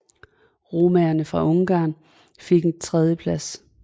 Romaerne fra Ungarn fik et tredjeplads